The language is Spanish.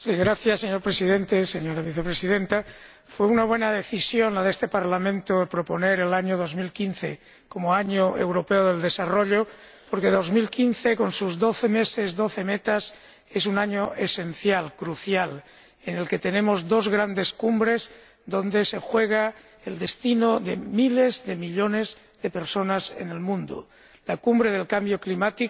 Señor Presidente, señora Vicepresidenta, fue una buena decisión de este Parlamento proponer el año 2015 como Año Europeo del Desarrollo porque 2015, con sus Doce meses, doce metas, es un año esencial, crucial, en el que tenemos dos grandes cumbres donde se juega el destino de miles de millones de personas en el mundo la Cumbre del Cambio Climático,